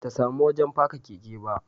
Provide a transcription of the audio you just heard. Ba ta samu wajen faka keke ba